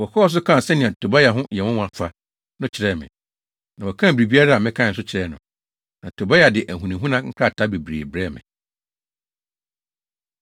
Wɔkɔɔ so kaa sɛnea Tobia ho yɛ nwonwa fa no kyerɛɛ me, na wɔkaa biribiara a mekae nso kyerɛɛ no. Na Tobia de ahunahuna nkrataa bebree brɛɛ me.